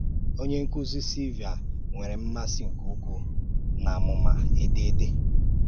Ọ̀nyé ǹkúzí, Silvia, nwere m̀màsị nke ukwu n’ámùmá èdèdé.